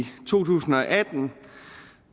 to tusind og atten